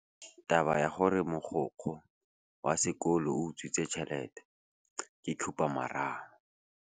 Taba ya gore mogokgo wa sekolo o utswitse tšhelete ke khupamarama.